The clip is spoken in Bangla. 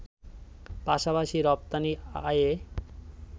পাশাপাশি রপ্তানি আয়ে